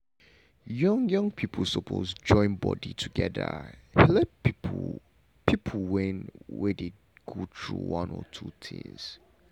young young people suppose join body together helep people people when dey go through one or two things.